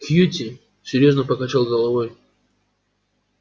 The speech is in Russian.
кьюти серьёзно покачал головой